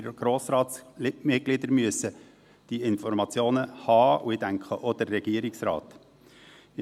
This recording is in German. Wir Grossratsmitglieder müssen diese Informationen haben, und ich denke, der Regierungsrat auch.